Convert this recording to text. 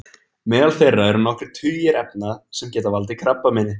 Meðal þeirra eru nokkrir tugir efna sem geta valdið krabbameini.